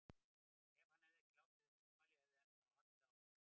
Ef hann hefði ekki látið þessi ummæli, hefði hann þá haldið áfram?